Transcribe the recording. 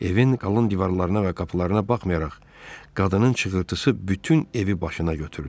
Evin qalın divarlarına və qapılarına baxmayaraq, qadının çığırtısı bütün evi başına götürdü.